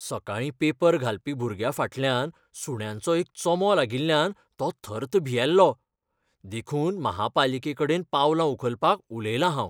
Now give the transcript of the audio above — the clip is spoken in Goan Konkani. सकाळीं पेपर घालपी भुरग्याफाटल्यान सुण्यांचो एक चोमो लागिल्ल्यान तो थर्त भियेल्लो. देखून म्हापालिकेकडेन पावलां उखलपाक उलयलां हांव.